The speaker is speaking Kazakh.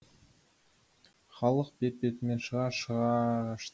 халық бет бетімен шыға шыға